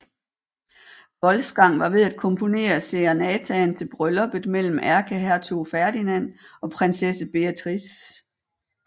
Wolfgang var ved at komponere serenataen til brylluppet mellem ærkehertug Ferdinand og prinsesse Beatrice